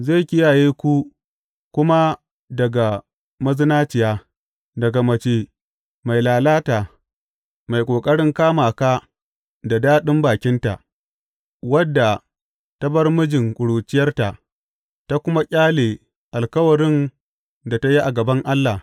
Zai kiyaye ku kuma daga mazinaciya, daga mace mai lalata, mai ƙoƙarin kama ka da daɗin bakinta, wadda ta bar mijin ƙuruciyarta ta kuma ƙyale alkawarin da ta yi a gaban Allah.